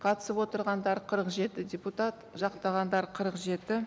қатысып отырғандар қырық жеті депутат жақтағандар қырық жеті